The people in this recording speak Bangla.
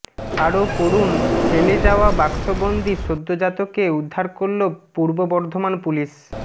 আরও পড়ুনঃ ফেলে যাওয়া বাক্সবন্দি সদ্যজাতকে উদ্ধার করল পূর্ব বর্ধমান পুলিশ